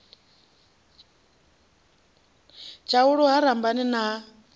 tshaulu ha lambani na ha